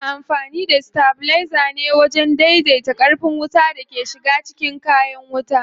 Ana amfani da stabilizer ne wajen dai dai ta ƙarfin wutan da ke shiga cikin kayan wuta.